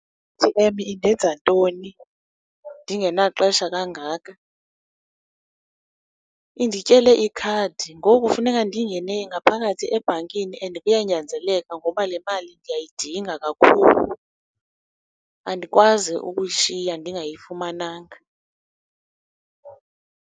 I-A_T_M indenza ntoni ndingenaxesha kangaka? Indityele ikhadi, ngoku funeka ndingene ngaphakathi ebhankini and kuyanzeleka ngoba le mali ndiyayidinga kakhulu, andikwazi ukuyishiya ndingayifumananga.